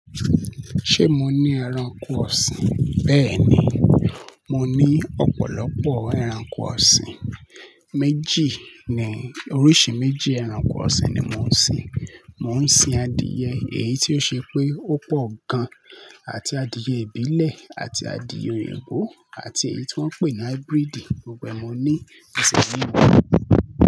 Ṣé mo ní ẹranko ọ̀sìn? Bẹ́ẹ̀ ni, mo ní ọ̀pọ̀lọpọ̀ ẹranko ọ̀sìn. Méjì ni, oríṣi méjì ẹranko ọ̀sìn ni mò ń sin. Mò ń sin adìẹ, èyí tí ó ṣe pé ó pọ̀ gan, àti adìẹ ìbílẹ̀ àti adìẹ òyìnbó àti èyí tí wọ́n ń pè ní hybrid, gbogbo ẹ ní ẹsẹ̀ méjì.